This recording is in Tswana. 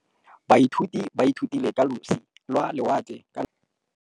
Baithuti ba ithutile ka losi lwa lewatle ka nako ya Thutafatshe.